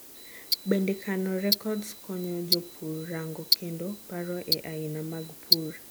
bende kano records konyo jopur rango kendo paro e aina mag pur